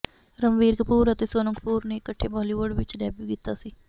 ਰਣਬੀਰ ਕਪੂਰ ਅਤੇ ਸੋਨਮ ਕਪੂਰ ਨੇ ਇਕੱਠੇ ਬਾਲੀਵੁੱਡ ਵਿੱਚ ਡੈਬਿਊ ਕੀਤਾ ਸੀ